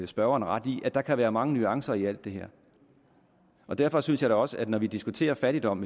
spørgeren ret i at der kan være mange nuancer i alt det her derfor synes jeg faktisk også når vi diskuterer fattigdom